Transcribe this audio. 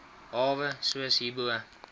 hawe soos hierbo